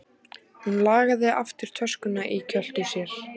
Hún lagaði aftur töskuna í kjöltu sér.